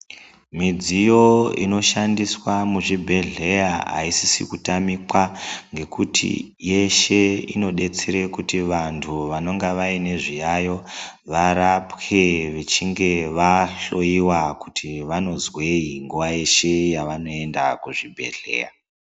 Midziyo inoshandiswa muzvibhedhleya haisisi kutamikwa ngekuti yeshe inodetsere kuti vantu vanonga vaine zviyaiyo varapwe vechinge vahloiwa kuti vanozwei nguva yeshe yevanoenda kuzvibhedhleya.